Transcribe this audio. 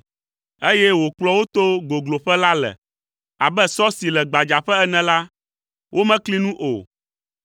eye wòkplɔ wo to gogloƒe la le? Abe sɔ si le gbadzaƒe ene la, womekli nu o.